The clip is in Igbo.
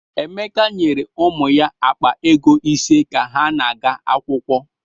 Emeka nyere ụmụ ya akpa ego ise ka ha na-aga akwụkwọ.